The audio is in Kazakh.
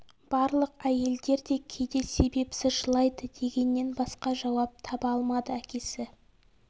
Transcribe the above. барлық әйелдер де кейде себепсіз жылайды дегеннен басқа жауап таба алмады әкесі